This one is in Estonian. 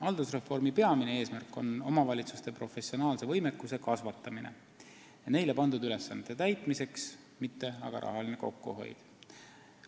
" Haldusreformi peamine eesmärk on omavalitsuste professionaalse võimekuse kasvatamine neile pandud ülesannete täitmiseks, mitte rahaline kokkuhoid.